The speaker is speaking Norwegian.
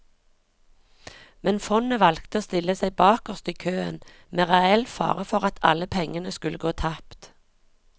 Men fondet valgte å stille seg bakerst i køen, med reell fare for at alle pengene skulle gå tapt.